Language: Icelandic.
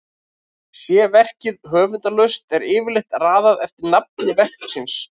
sé verkið höfundarlaust er yfirleitt raðað eftir nafni verksins